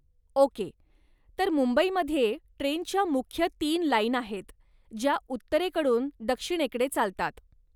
Okay, तर मुंबईमध्ये ट्रेनच्या मुख्य तीन लाईन आहेत, ज्या उत्तरेकडून दक्षिणेकडे चालतात.